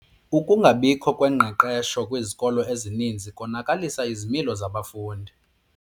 Ukungabikho kwengqeqesho kwizikolo ezininzi konakalise izimilo zabafundi.